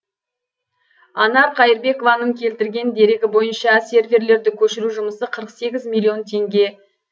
анар қайырбекованың келтірген дерегі бойынша серверлерді көшіру жұмысы қырық сегіз миллион теңге